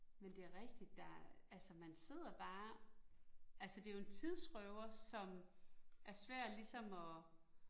Men det er rigtigt, der altså man sidder bare, altså det jo en tidsrøver, som er svær ligesom at